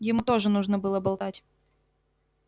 ему тоже нужно было болтать